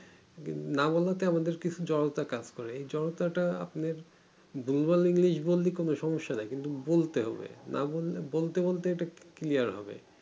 না বোলাতে আমাদের কিছু জড়তা কাজ করে এই জড়তা টা আপনার ভুল ভাল english বললে কোনো সমস্যা নাই কিন্তু বলতে হবে না বললে বলতে বলতে এটা clear হবে